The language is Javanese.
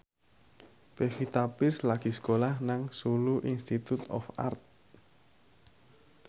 Pevita Pearce lagi sekolah nang Solo Institute of Art